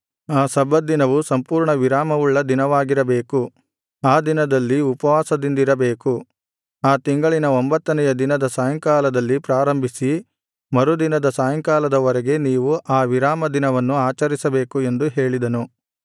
ಆ ಸಬ್ಬತ್ ದಿನವು ಸಂಪೂರ್ಣವಿರಾಮವುಳ್ಳ ದಿನವಾಗಿರಬೇಕು ಆ ದಿನದಲ್ಲಿ ಉಪವಾಸದಿಂದಿರಬೇಕು ಆ ತಿಂಗಳಿನ ಒಂಭತ್ತನೆಯ ದಿನದ ಸಾಯಂಕಾಲದಲ್ಲಿ ಪ್ರಾರಂಭಿಸಿ ಮರುದಿನದ ಸಾಯಂಕಾಲದ ವರೆಗೆ ನೀವು ಆ ವಿರಾಮದಿನವನ್ನು ಆಚರಿಸಬೇಕು ಎಂದು ಹೇಳಿದನು